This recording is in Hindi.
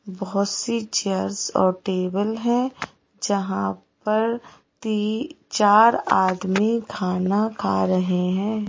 बहोत सी चेयर्स और टेबल है जहां पर तीन चार आदमी खाना खा रहे हैं।